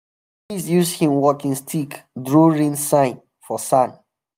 priest use him walking stick draw rain sign for sand.